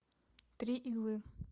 три иглы